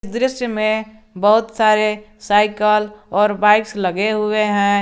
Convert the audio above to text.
इस दृश्य में बहुत सारे साइकिल और बाइक्स लगे हुए हैं।